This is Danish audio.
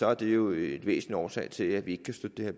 er det jo en væsentlig årsag til at vi ikke kan støtte